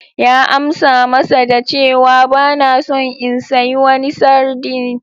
Ya amsa masa da cewa: Ba na son in sayi wani sardine.